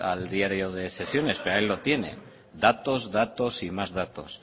al diario de sesiones pero ahí lo tiene datos datos y más datos